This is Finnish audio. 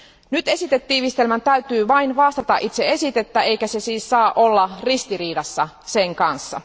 Nyt esitetiivistelmän täytyy vain vastata itse esitettä, eikä se siis saa olla ristiriidassa sen kanssa.